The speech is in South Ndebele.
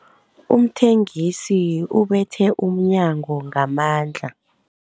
Umthengisi ubethe umnyango ngamandla.